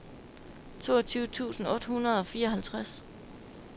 toogtyve tusind otte hundrede og fireoghalvtreds